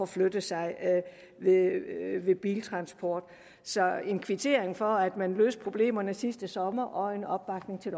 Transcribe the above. flytte sig ved biltransport så her er en kvittering for at man løste problemerne sidste sommer og en opbakning til